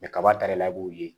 kaba ta de b'o ye